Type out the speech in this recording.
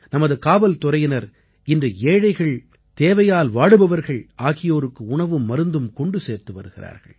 நமது காவல்துறையினர் இன்று ஏழைகள் தேவையால் வாடுபவர்கள் ஆகியோருக்கு உணவும் மருந்தும் கொண்டு சேர்த்து வருகிறார்கள்